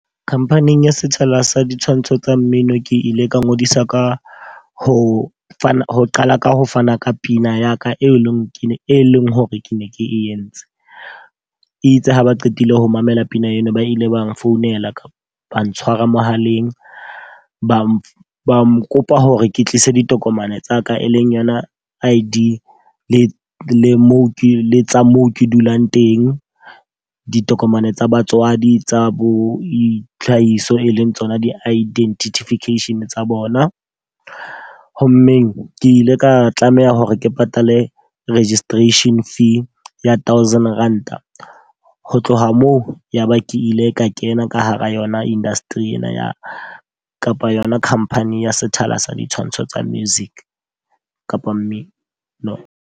Company-eng ya sethala sa ditshwantsho tsa mmino ke ile ka ngodisa ka ho fana ka qala ka ho fana ka pina ya ka, e leng ntho e leng hore ke ne ke entse. Itse ha ba qetile ho mamela pina ena, ba ile ba nfounela ka ba ntshwara mohaleng. Ba mo ba mo kopa hore ke tlise ditokomane tsa ka e leng yona I_D le le moo ke tsa moo ke dulang teng. Ditokomane tsa batswadi tsa boitlhakiso e leng tsona di-identification tsa bona. Ho mmeng, ke ile ka tlameha hore ke patale registration fee ya thousand Rand. Ho tloha moo yaba ke ile ka kena ka hara yona industry ena ya kapa yona company ya sethala sa ditshwantsho tsa music kapa mmino.